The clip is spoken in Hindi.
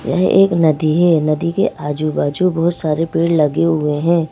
यह एक नदी है नदी के आजू-बाजू बहुत सारे पेड़ लगे हुए हैं।